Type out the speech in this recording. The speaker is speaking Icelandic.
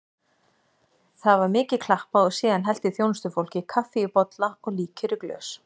Það var mikið klappað og síðan hellti þjónustufólkið kaffi í bolla og líkjör í glös.